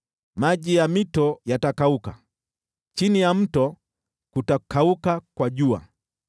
Maji ya mito yatakauka, chini ya mto kutakauka kwa jua.